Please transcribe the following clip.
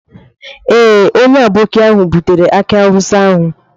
Ee, onye aboki ahụ butere aki awusa ahụ.